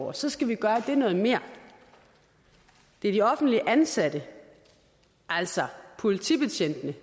og så skal vi gøre det noget mere det er de offentligt ansatte altså politibetjentene